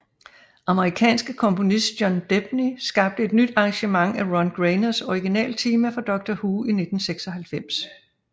Amerikanske komponist John Debney skabte et nyt arrangement af Ron Grainers original tema for Doctor Who i 1996